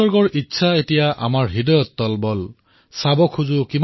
देखना है ज़ोर कितना बाज़ुएकातिल में है